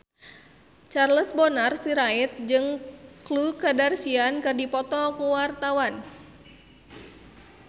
Charles Bonar Sirait jeung Khloe Kardashian keur dipoto ku wartawan